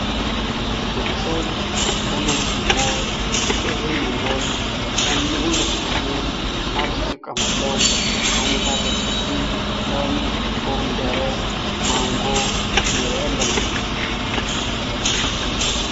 ውዲ ሰብ ተመጅይዎ ጢቓሙዎን ጥዕንኡ ንኽሕሉን ካብ ዝጥቀሙሎም ዓይነታ ኣትክልቲ ከም ኮሚደሬ፣ ማንጎ ንርኢ ኣለና።